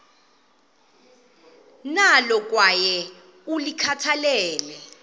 nalo kwaye ulikhathalele